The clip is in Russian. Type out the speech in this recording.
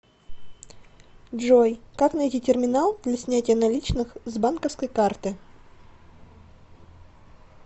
джой как найти терминал для снятия наличных с банковской карты